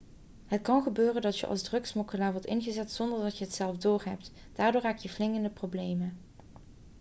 het kan gebeuren dat je als drugssmokkelaar wordt ingezet zonder dat je het zelf doorhebt daardoor raak je flink in de problemen